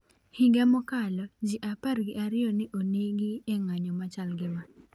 Higa mokalo, ji apar gi ariyo ne onegi e ng'anyo machal gi ma.